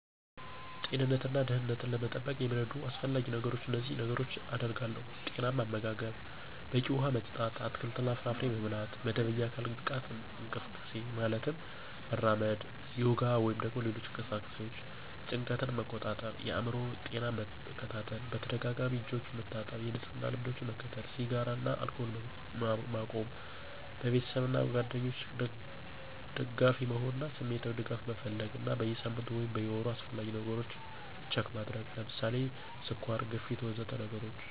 ጤንነትን እና ደህንነትን ለመጠበቅ የሚረዱት አስፈላጊ ነገሮች እነዚህን ነገሮች አደርጋለሁ። ⦁ ጤናማ አመጋገብ፣ በቂ ውሃ መጠጥ፣ አትክልትና ፍራፍሬ መብላት ⦁ መደበኛ የአካል ብቃት እንቅስቃሴ (ማለትም መራመድ፣ ዮጋ ወይም ሌሎች እንቅስቃሴዎች) ⦁ ጭንቀትን መቆጣጠር እና የአእምሮ ጤናን መከታተል ⦁ በተደጋጋሚ እጆችን መታጠብ እና የንጽህና ልምዶችን መከተል ⦁ ስጋራን እና አልኮልን መቆም ⦁ በቤተሰብ እና ጓደኞች ደጋፊ መሆን እና ስሜታዊ ድጋፍ መፈለግ እና በየ ሳምንቱ ወይም ወሩ አስፈላጊ ነገሮች ችክ ማድረግ (ስኳር፣ ግፊት... ወዘተ ነገሮችን)